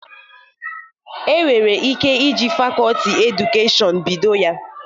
E nwere ike iji fakoti Edukashọn bido ya.